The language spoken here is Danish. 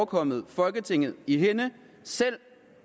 kommet folketinget i hænde selv